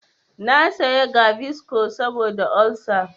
Na saya gaviscon saboda olsa.